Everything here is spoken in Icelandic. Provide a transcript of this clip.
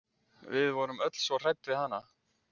Við vorum öll svo hrædd við hana.